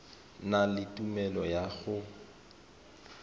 na le tumelelo ya go